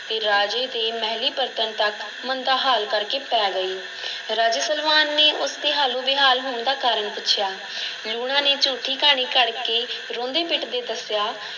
ਅਤੇ ਰਾਜੇ ਦੇ ਮਹਿਲੀਂ ਪਰਤਣ ਤੱਕ ਮੰਦਾ ਹਾਲ ਕਰ ਕੇ ਪੈ ਗਈ ਰਾਜੇ ਸਲਵਾਨ ਨੇ ਉਸ ਦੇ ਹਾਲੋਂ-ਬੇਹਾਲ ਹੋਣ ਦਾ ਕਾਰਨ ਪੁੱਛਿਆ ਲੂਣਾ ਨੇ ਝੂਠੀ ਕਹਾਣੀ ਘੜ ਕੇ ਰੋਂਦੇ-ਪਿੱਟਦੇ ਦੱਸਿਆ